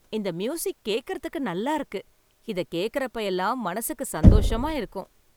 இந்த மியூசிக் கேக்கறதுக்கு நல்லா இருக்கு. இத கேக்கறப்ப எல்லாம் மனசுக்கு சந்தோஷமா இருக்கும்.